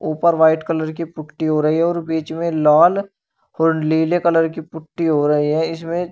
ऊपर white colour की putty हो रही है और बीच में लाल और नीले कलर की पुट्टी हो रही है इसमें--